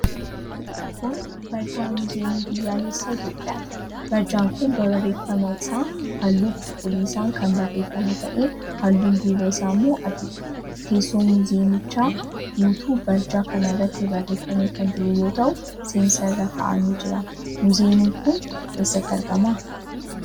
Kun barjaa Muuziyeemii Biyyaalessaa Itiyoophiyaati. Barjaan kun barreeffamni isaa halluu cuquliisaan kan barreeffame ta'ee, halluun duubaa isaa immoo adiidha. Teessoon muuziyeemichaa guutuun barjaa kana irratti barreeffamee kan jiru yoo ta'u, Seensa irra kaa'amee jira. Muuziyeemiin kun eessatti argama?